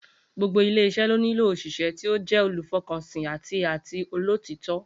Gbogbo ilé is̩é̩ ló nílò òs̩ìs̩é̩ tí ó jé̩ olùfo̩kànsìn àti àti olótìító̩